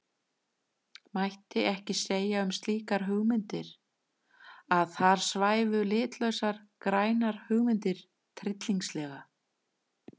Mætti ekki segja um slíkar hugmyndir að þar svæfu litlausar grænar hugmyndir tryllingslega?